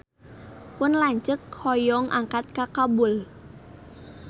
Pun lanceuk hoyong angkat ka Kabul